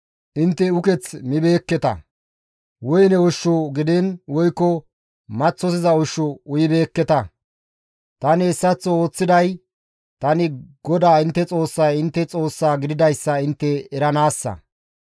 Intte uketh mibeekketa; woyne ushshu gidiin woykko maththosiza ushshu uyibeekketa. Tani hessaththo ooththiday tani GODAA intte Xoossay intte Xoossa gididayssa intte eranaassa.